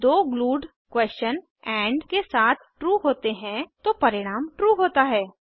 जब दो glued question and के साथ ट्रू होते हैंतो परिणाम ट्रू होता है